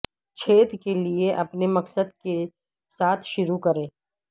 چھید کے لئے اپنے مقصد کے ساتھ شروع کریں